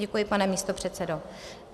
Děkuji, pane místopředsedo.